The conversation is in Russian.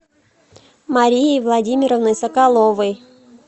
марии владимировны соколовой